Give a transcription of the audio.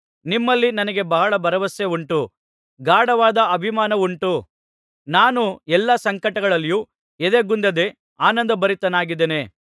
ನಿಮ್ಮಲ್ಲಿ ನನಗೆ ಬಹಳ ಭರವಸೆ ಉಂಟು ಗಾಢವಾದ ಅಭಿಮಾನವುಂಟು ನಾನು ಎಲ್ಲಾ ಸಂಕಟಗಳಲ್ಲಿಯೂ ಎದೆಗುಂದದೆ ಆನಂದಭರಿತನಾಗಿದ್ದೇನೆ